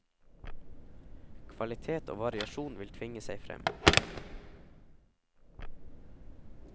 Kvalitet og variasjon vil tvinge seg frem.